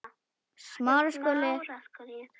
Ég sagði ekki satt.